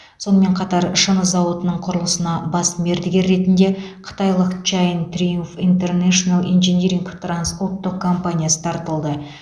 сонымен қатар шыны зауытының құрылысына бас мердігер ретінде қытайлық чайн триумф интернешнл инжиниринг трансұлттық компаниясы тартылды